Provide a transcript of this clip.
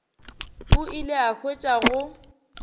o ile a hwetša go